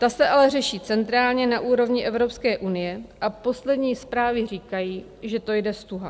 Ta se ale řeší centrálně na úrovni Evropské unie a poslední zprávy říkají, že to jde ztuha.